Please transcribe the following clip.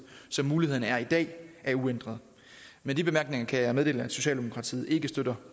som muligheden er i dag er uændret med de bemærkninger kan jeg meddele at socialdemokratiet ikke støtter